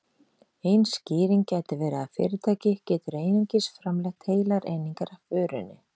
Ein skýring gæti verið að fyrirtæki getur einungis framleitt heilar einingar af vörunni.